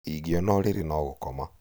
ingĩona ũrĩrĩ no gũkoma